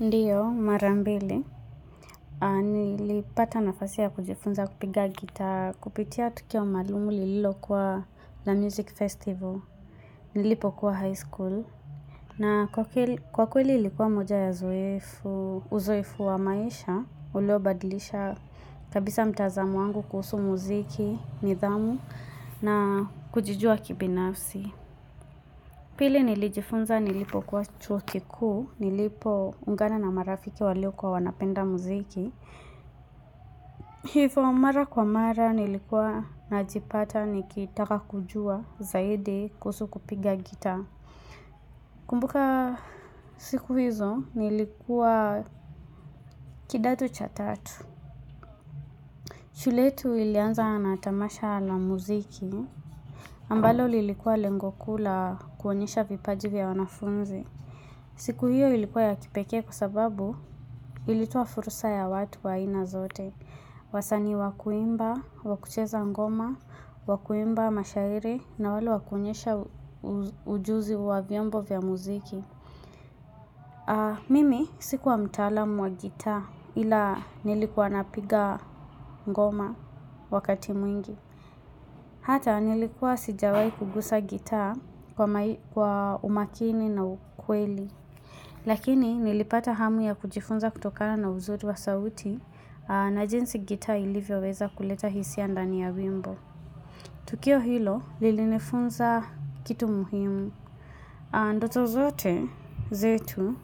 Ndio, mara mbili, nilipata nafasi ya kujifunza kupiga gitaa, kupitia tukio maalumu lilo kuwa la music Festival, nilipokua high school. Kwa kweli ilikuwa moja yauzoifu wa maisha, uliobadilisha kabisa mtazamo wangu kuhusu muziki, nidhamu na kujijua kibinafsi. Pili nilijifunza nilipo kwa chuo kikuu, nilipo ungana na marafiki walio kwa wanapenda muziki. Hivo mara kwa mara nilikuwa najipata nikitaka kujua zaidi kusu kupiga gita. Kumbuka siku hizo nilikuwa kidato cha tatu. Shule yetu ilianza na tamasha la muziki. Ambalo lilikuwa lengo kuu la kuonyesha vipaji vya wanafunzi. Siku hiyo ilikuwa ya kipekre kwa sababu ilitoa fursa ya watu wa ina zote. Wasani wakuimba, wakucheza ngoma, wakuimba mashahiri na wale wa kuonyesha ujuzi wa vyombo vya muziki. Mimi sikuwa mtaalamu wa gitaa ila nilikuwa napiga ngoma wakati mwingi. Hata nilikuwa sijawai kugusa gitaa kwa umakini na ukweli. Lakini nilipata hamu ya kujifunza kutokana na uzuri wa sauti na jinsi gitaa ilivyoweza kuleta hisia ndani ya wimbo. Tukio hilo lilinifunza kitu muhimu. Ndoto zote zetu